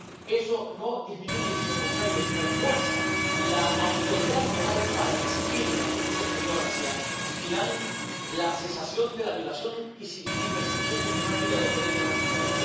Eso no disminuye, sino al contrario, refuerza la autoridad moral para exigir en la política exterior hacia Irán la cesación de la violación y persecución sistemática de los derechos de las mujeres.